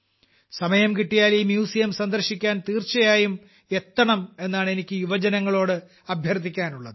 സമയം കിട്ടിയാൽ ഈ മ്യൂസിയം സന്ദർശിക്കാൻ തീർച്ചയായും എത്തണം എന്നാണ് എനിക്ക് യുവജനങ്ങളോട് അഭ്യർത്ഥിക്കാനുള്ളത്